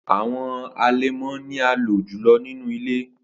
Awọn alẹmọ ni a lo julọ ninu ile.